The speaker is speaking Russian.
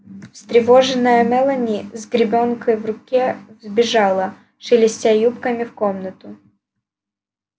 встревоженная мелани с гребенкой в руке вбежала шелестя юбками в комнату